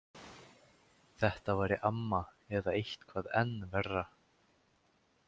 Þetta væri amma eða eitthvað enn verra.